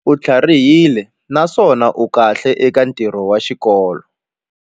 U tlharihile naswona u kahle eka ntirho wa xikolo.